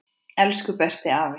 Elsku besti afi.